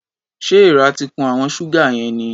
Ṣé èèrà ti kun àwọn ṣúgà yẹn ni?